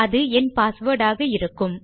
அது என் பாஸ்வேர்ட் ஆக இருக்கும்